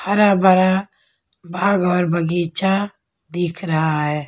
हरा भरा बाग और बगीचा दिख रहा है।